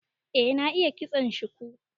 Eh, na iya ƙitson shuku.